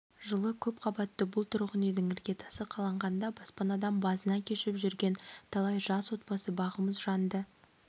жылы көпқабатты бұл тұрғын үйдің іргетасы қаланғанда баспанадан базына кешіп жүрген талай жас отбасы бағымыз жанды